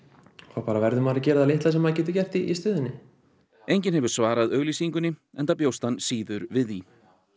þá verður maður að gera það litla sem maður getur gert í stöðunni enginn hefur svarað auglýsingunni enda bjóst hann síður við því